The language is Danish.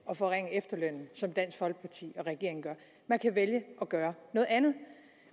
at forringe efterlønnen som dansk folkeparti og regeringen gør man kan vælge at gøre noget andet